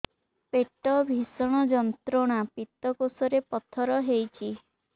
ପେଟ ଭୀଷଣ ଯନ୍ତ୍ରଣା ପିତକୋଷ ରେ ପଥର ହେଇଚି